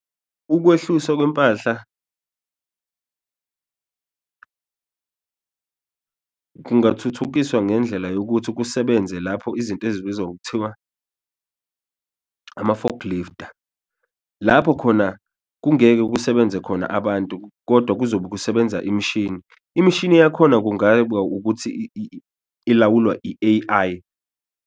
Ukwehluswa kwempahla kungathuthukiswa ngendlela yokuthi kusebenze lapho izinto ezibizwa ngokuthiwa ama-fork lifter, lapho khona kungeke kusebenze khona abantu kodwa kuzobe kusebenza imishini, imishini yakhona ukuthi ilawulwa i-A_I.